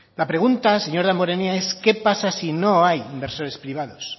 la pregunta señor damborenea es qué pasa si no hay inversores privados